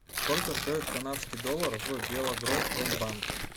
сколько стоит канадский доллар в белагропромбанке